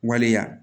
Waleya